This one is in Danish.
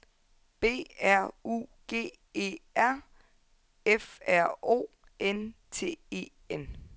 B R U G E R F R O N T E N